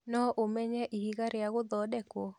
No ũmenye ihiga rĩa gũthondekwo?